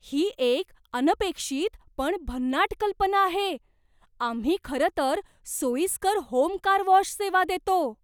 ही एक अनपेक्षित पण भन्नाट कल्पना आहे! आम्ही खरं तर सोयीस्कर होम कार वॉश सेवा देतो.